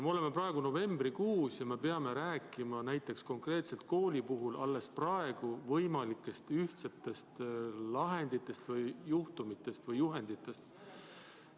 Me oleme praegu novembrikuus ja me peame rääkima näiteks konkreetselt koolide puhul alles praegu võimalikest ühtsetest lahenditest või juhenditest.